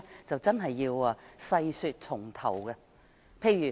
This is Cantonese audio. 這真的要從頭細說。